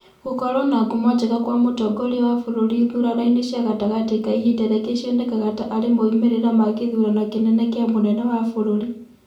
Gũkorũo na ngumo njega kwa mũtongoria wa bũrũri ithurano inĩ cia gatagatĩ ka ihinda riake cionekaga ta arĩ moimĩrĩ ma kithurano kĩnene kia mũnene wa bũrũri.